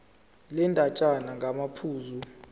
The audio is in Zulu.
le ndatshana ngamaphuzu